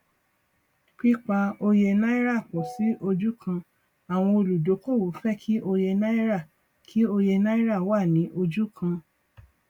pípa òye náírà pọ sí ojú kan àwọn olúdókòwò fẹ kí òye náírà kí òye náírà wá ní ojú kan